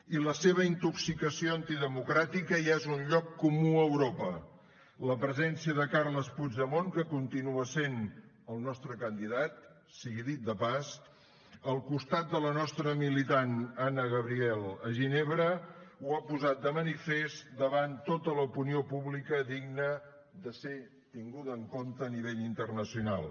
i la seva intoxicació antidemocràtica ja és un lloc comú a europa la presència de carles puigdemont que continua sent el nostre candidat sigui dit de pas al costat de la nostra militant anna gabriel a ginebra ho ha posat de manifest davant tota l’opinió pública digna de ser tinguda en compte a nivell internacional